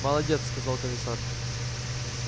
молодец сказал комиссар